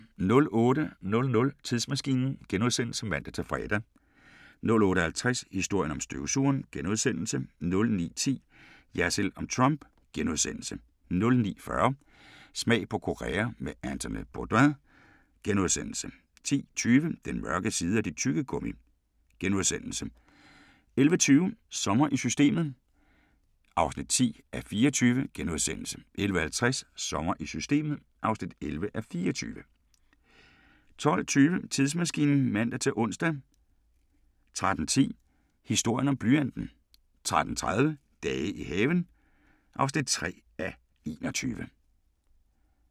08:00: Tidsmaskinen *(man-fre) 08:50: Historien om støvsugeren * 09:10: Jersild om Trump * 09:40: Smag på Korea med Anthony Bourdain * 10:20: Den mørke side af dit tyggegummi! * 11:20: Sommer i Systemet (10:24)* 11:50: Sommer i Systemet (11:24) 12:20: Tidsmaskinen (man-ons) 13:10: Historien om blyanten 13:30: Dage i haven (3:21)*